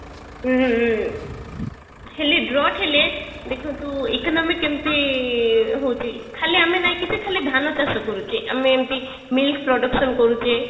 ଉଁ ହେଲେ Drought ହେଲେ ଦେଖନ୍ତୁ economic କେମତି ହଉଛି ଖାଲି ଆମେ ନାଇଁ କି ଯେ ଖାଲି ଧାନ ଚାଷ କରୁଛେ ଆମେ ଏମତି milk production କରୁଛେ